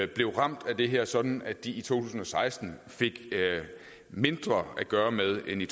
blev ramt af det her sådan at de i to tusind og seksten fik mindre at gøre med end i